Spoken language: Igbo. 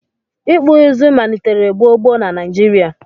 ikpụ izu manitere gbo gbo na Naijirịa